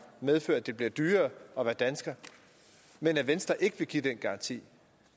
medfører at det bliver dyrere at være dansker men at venstre ikke vil give den garanti